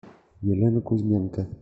елена кузьменко